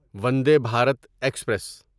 ونڈے Bharat express